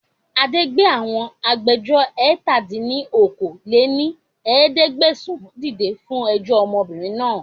Adé gbé àwọn agbẹjọ́ró ẹ̀ta dín ní okòó-lé-ní-ẹ̀ẹ́dẹ́gbẹ́sán dìde fún ẹjọ́ ọmọbìnrin náà